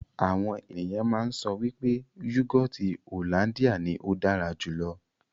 Àwọn ènìyàn máa ń sọ wípé yúgọọ́ti hollandia ní ó dára jù lọ.